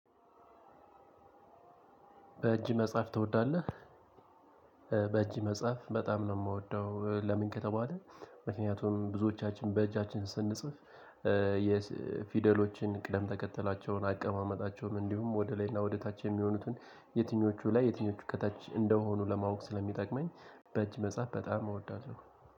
በእጅ መጽሐፍ ትወዳለህ? በእጅ መጽሐፍ በጣም ነው የምወደው ለምን ከተባለ ምክንያቱም ብዙዎቻችን በእጃችን ስንጽፍ የፊደሎችን ቅደም ተከተላቸውን አቀማመጣቸውን እንዲሁም ወደ ላይና ወደ ታች የሚሆኑትን የትኞቹ ላይ የትኞቹ ከታች እንደሆኑ ለማወቅ ስለሚጠቅመኝ በእጅ መጽሐፍ በጣም እወዳለሁ